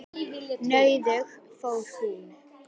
Nauðug fór hún.